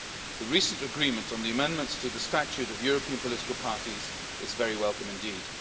The recent agreement on the amendments to the statute of European political parties is very welcome indeed.